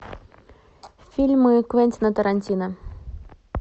фильмы квентина тарантино